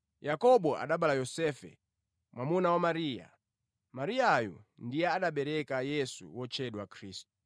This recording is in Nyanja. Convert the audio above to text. Yakobo anabereka Yosefe, mwamuna wa Mariya. Mariyayu ndiye anabereka Yesu wotchedwa Khristu.